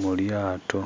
mulyaato